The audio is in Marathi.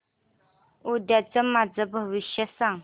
उद्याचं माझं भविष्य सांग